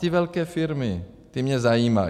Ty velké firmy, ty mě zajímají.